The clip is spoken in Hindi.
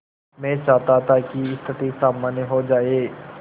मैं चाहता था कि स्थिति सामान्य हो जाए